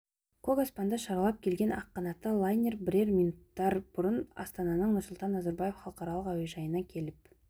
көк аспанды шарлап келген ақ қанатты лайнер бірер минуттар бұрын астананың нұрсұлтан назарбаев халықаралық әуежайына келіп